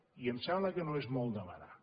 i em sembla que no és molt demanar